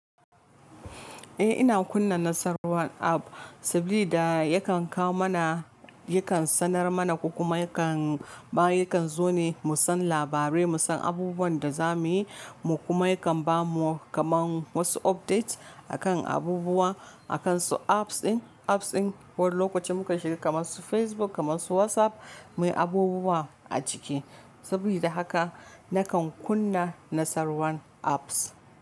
Eh ina kunna nasar WhatsApp saboda yakan kawo mana, yakan sanar mana kuma yakan, ma yakan zo ne mu san labarai, mu san abubuwan da za mu yi. Mu kuma yakan ba mu kamar wasu updates a kan abubuwa a kan su apps ɗin, apps ɗin wani lokacin muka shiga kamar su Facebook kamar su WhatsApp mai abubuwa a ciki. Sabda haka nakan kunna nasarwan apps.